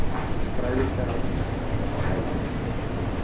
Skrælingjar voru nú komnir á hæla henni.